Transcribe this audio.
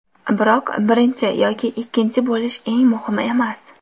Biroq birinchi yoki ikkinchi bo‘lish eng muhimi emas.